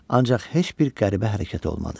Ancaq heç bir qəribə hərəkət olmadı.